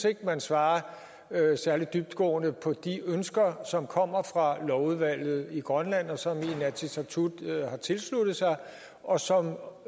ikke at man svarer særlig dybtgående på de ønsker som kommer fra lovudvalget i grønland og som inatsisartut har tilsluttet sig og som